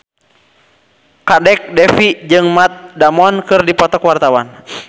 Kadek Devi jeung Matt Damon keur dipoto ku wartawan